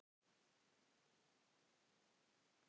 Góðar til að deyja undir, ef kostur væri á því.